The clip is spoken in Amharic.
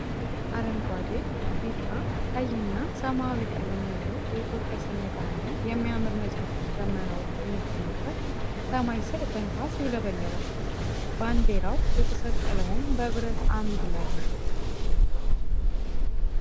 አረንጓዴ፣ ቢጫ፣ ቀይ እና ሰማያዊ ቀለም ያለው የኢትዮጵያ ሰንደቅ አላማ የሚያምር ነጫጭ ደመናዎች በሚገኝበት ሰማይ ስር በንፋስ ይውለበለባል። ባንዲራው የተሰቀለውም በብረት አምድ ላይ ነው።